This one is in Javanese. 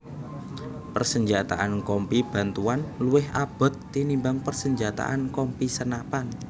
Persenjataan Kompi Bantuan luwih abot tinimbang persenjataan Kompi senapan